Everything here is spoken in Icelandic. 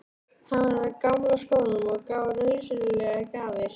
Hann var af gamla skólanum og gaf rausnarlegar gjafir.